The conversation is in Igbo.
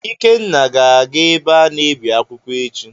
Ikenna ga-aga ebe a na-ebi akwụkwọ echi.